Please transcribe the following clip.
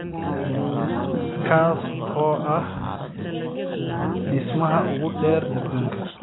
kaas oo ahaa dhismaha ugu dheer aduunka